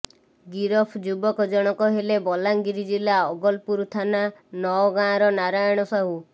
ଗିରଫ ଯୁବକ ଜଣକ ହେଲେ ବଲାଙ୍ଗୀର ଜିଲ୍ଲା ଆଗଲପୁର ଥାନା ନଅଗଁାର ନାରାୟଣ ସାହୁ